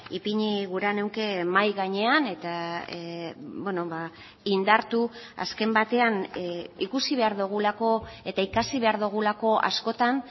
ipini gura nuke mahai gainean eta indartu azken batean ikusi behar dugulako eta ikasi behar dugulako askotan